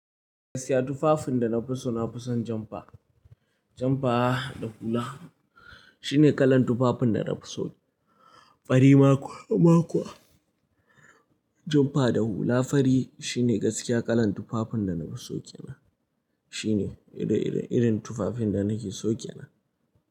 Gaskiya tufafin da na fi so na fi son janpa. Janpa da hula shine kalan tufafin da na fi so. Fari maku, makuwa. Janpa da hula fari shine gaskiya kalan tufafin da na fi so kenan. Shine irin, irin tufafin da nake so kena.